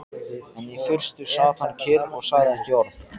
En í fyrstu sat hann kyrr og sagði ekki orð.